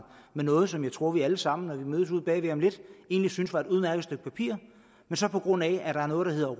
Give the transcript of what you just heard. med noget som jeg tror vi alle sammen når vi mødes ude bagved om lidt egentlig synes var et udmærket stykke papir men så på grund af at der er noget der hedder